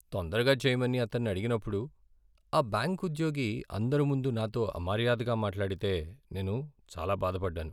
తొందరగా చెయ్యమని అతన్ని అడిగినప్పుడు, ఆ బ్యాంకు ఉద్యోగి అందరి ముందు నాతో అమర్యాదగా మాట్లాడితే నేను చాలా బాధ పడ్డాను.